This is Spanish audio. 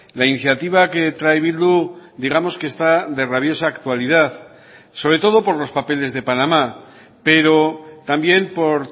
la iniciativa que trae bildu digamos que está de rabiosa actualidad sobre todo por los papeles de panamá pero también por